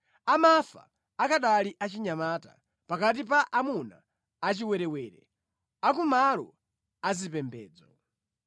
Amafa akanali achinyamata, pakati pa amuna achiwerewere a kumalo azipembedzo.